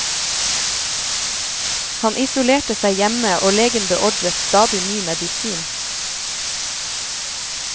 Han isolerte seg hjemme og legen beordret stadig ny medisin.